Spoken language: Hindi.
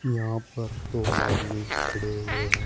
यहां पर दो आदमी खड़े हुए हैं।